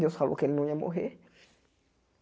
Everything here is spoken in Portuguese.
Deus falou que ele não ia morrer.